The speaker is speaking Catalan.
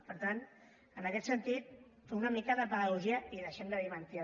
per tant en aquest sentit fer una mica de pedagogia i deixem de dir mentides